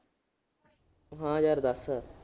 ਹਾਂ ਯਾਰ ਦੱਸ।